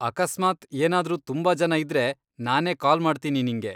ಅಕಸ್ಮಾತ್ ಏನಾದ್ರೂ ತುಂಬಾ ಜನ ಇದ್ರೆ ನಾನೇ ಕಾಲ್ ಮಾಡ್ತೀನಿ ನಿಂಗೆ.